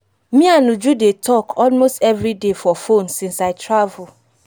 me and uju dey talk almost everyday for phone since i travel